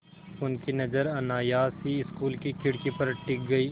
उनकी नज़र अनायास ही स्कूल की खिड़की पर टिक गई